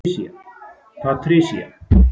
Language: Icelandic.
Patricia